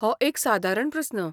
हो एक सादारण प्रस्न.